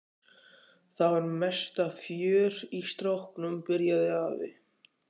Það var mesta fjör í stráknum. byrjaði afi.